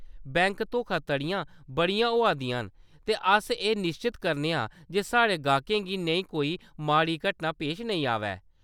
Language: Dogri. बैंक धोखाधड़ियां बड़ियां होआ दियां न, ते अस एह्‌‌ निश्चत करने आं जे साढ़े गाह्‌‌कें गी नेही कोई माड़ी घटना पेश नेईं आवै।